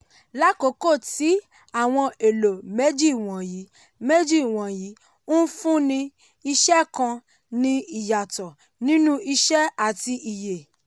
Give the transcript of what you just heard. lákókò tí àwọn èlò méjì wọ̀nyí méjì wọ̀nyí ńfúnni iṣẹ́ kàn ní ìyàtọ̀ nínú iṣẹ́ àti iye.